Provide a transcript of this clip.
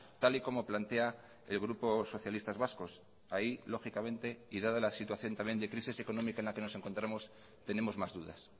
tal y como plantea el grupo socialistas vascos ahí lógicamente y dada la situación también de crisis económica en la que nos encontramos tenemos más dudas